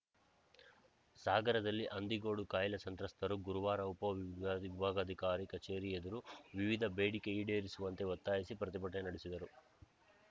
ಸಾಗರದಲ್ಲಿ ಹಂದಿಗೋಡು ಕಾಯಿಲೆ ಸಂತ್ರಸ್ತರು ಗುರುವಾರ ಉಪವಿಭಾಗಾಧಿಕಾರಿ ಕಚೇರಿ ಎದುರು ವಿವಿಧ ಬೇಡಿಕೆ ಈಡೇರಿಸುವಂತೆ ಒತ್ತಾಯಿಸಿ ಪ್ರತಿಭಟನೆ ನಡೆಸಿದರು